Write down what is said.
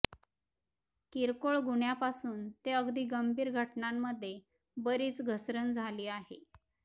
किरकोळ गुन्ह्यापासून ते अगदी गंभीर घटनांमध्ये बरीच घसरण झाली आहे